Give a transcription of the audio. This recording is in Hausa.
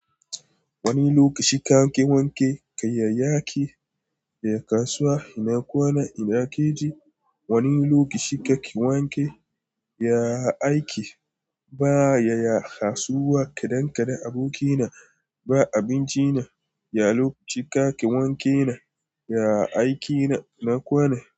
Wani lokaci ka wanke kayayyaki da ya kasuwa ina kwana ina keji wani lokaci ka ki wanke ya aiki ba ya ya kasuwa kadan kadan aboki na ba abinci na ya lokaci ka ki wanke na ya aikina na kwana.